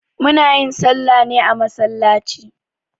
Muna yin salla ne a masallaci